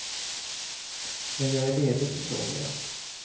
När jag är ledig så sover jag.